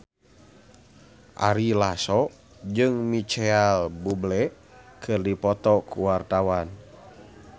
Ari Lasso jeung Micheal Bubble keur dipoto ku wartawan